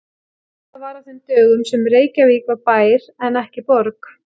Þetta var á þeim dögum sem Reykjavík var bær en ekki borg.